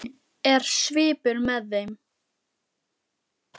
Er svipur með þeim?